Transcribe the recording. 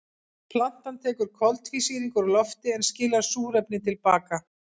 Plantan tekur koltvísýring úr lofti en skilar súrefni til baka.